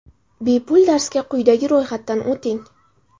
Bepul darsga quyida ro‘yxatdan o‘ting !